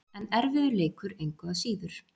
En erfiður leikur, engu að síður.